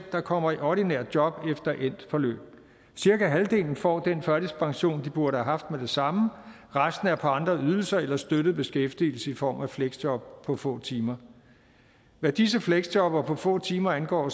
der kommer i ordinært job efter endt forløb cirka halvdelen får den førtidspension de burde have haft med det samme og resten er på andre ydelser eller støttet beskæftigelse i form af fleksjob på få timer hvad disse fleksjobbere på få timer angår